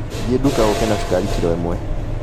Thiĩ nduka ũke na cukari kiro ĩmwe